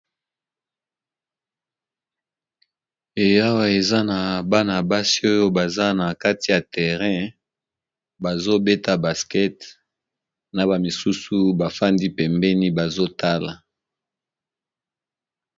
Eee awa eza nabana basi oyo baza nakati ya terré bazobeta ndembo ya maboko nabamisusu bafandi pembeni bazotala